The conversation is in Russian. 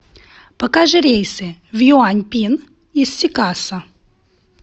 покажи рейсы в юаньпин из сикасо